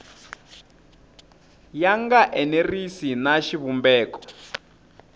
ya nga enerisi na xivumbeko